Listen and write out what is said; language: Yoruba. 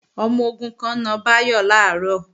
Ọmọ-ogun kan na Báyọ̀ làárọ̀